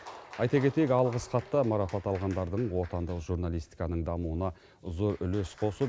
айта кетейік алғыс хатта марапат алғандардың отандық журналистиканың дамуына зор үлес қосып